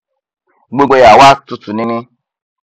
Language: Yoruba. gbogbo ẹ á wá tutù nini